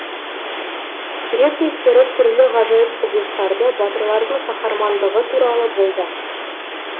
грек мифтері түрлі ғажайып құбылыстарды батырлардың қаһармандығы туралы болды